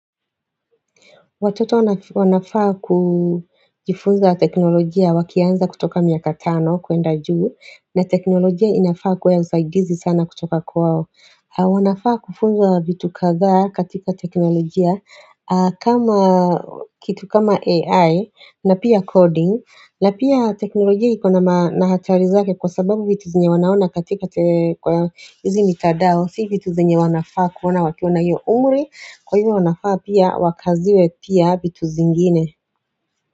Watoto wanafaa kujifunza teknolojia wakianza kutoka miaka tano kuenda juu na teknolojia inafaa kwa ya usaidizi sana kutoka kwao wanafaa kufunza vitu kadhaa katika teknolojia kama kitu kama AI na pia coding na pia teknolojia ikona na hatari zake kwa sababu vitu zenye wanaona katika kwa hizi mitandao. Si vitu zenye wanafaa kuona wakiwa na hiyo umri Kwa hivyo wanafaa pia wakaziwe pia vitu zingine.